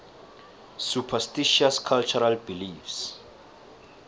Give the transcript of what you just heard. superstitious cultural beliefs